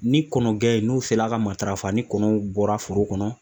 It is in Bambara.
Ni kɔnɔgɛn n'o sera ka matarafa ni kɔnɔw bɔra foro kɔnɔ